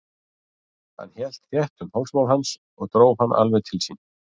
Hann hélt þétt um hálsmál hans og dró hann alveg til sín.